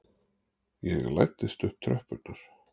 Ég læddist upp tröppurnar.